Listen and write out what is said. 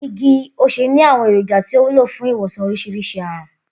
Igi osè ní àwo̩n èròjà tí ó wúlò fún ìwòsàn orís̩irís̩i àrùn